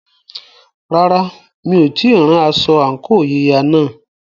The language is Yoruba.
Rárá, mi ò tíì rán aṣọ àǹkóò yíya náà.